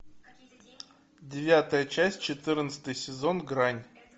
девятая часть четырнадцатый сезон грань